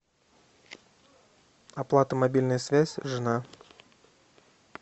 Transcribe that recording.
оплата мобильная связь жена